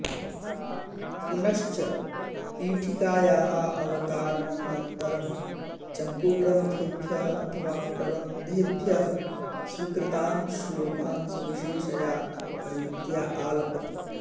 पुनश्च पीठिकायाः अवतारणानन्तरं चम्पूग्रन्थेभ्यः अथवा प्रबन्धेभ्यः स्वीकृतान् श्लोकान् सविशेषया रीत्या आलपति